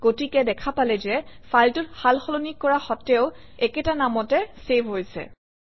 গতিকে দেখা পালে যে ফাইলটোত সালসলনি কৰা সত্ত্বেও একেটা নামতে চেভ হৈছে